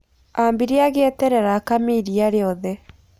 Ambire agieterera akame iriia riothe.